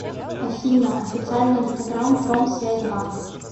афина официальный инстаграм промсвязь банк